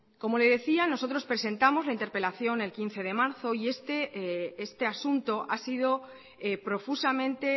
como le decía nosotros presentamos la interpelación el quince de marzo y este asunto ha sido profusamente